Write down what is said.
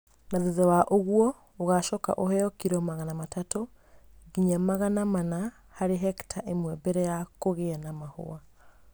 Na thutha wa ũguo, ũgacoka ũheo kilo magana matatũ nginya magana mana harĩ hekita ĩmwe mbere ya kũgĩa na mahũa.